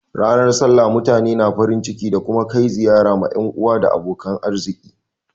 Ranar sallah mutane na farin ciki da kuma kai ziyara ma yan uwa da abokan arziki.